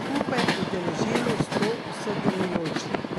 skupaj udeležilo sto sodelujočih.